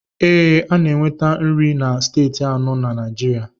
Ee, a na-enweta nri na Steeti anọ na Naijiria.